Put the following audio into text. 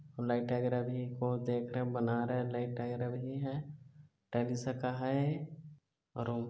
light वागेरा भी ओद एक झन बना रहे है लाइट वागेरा भी हैं तग़ी सका हैं और--